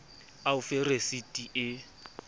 a o fe resiti e